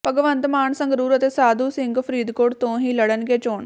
ਭਗਵੰਤ ਮਾਨ ਸੰਗਰੂਰ ਅਤੇ ਸਾਧੂ ਸਿੰਘ ਫਰੀਦਕੋਟ ਤੋਂ ਹੀ ਲੜਨਗੇ ਚੋਣ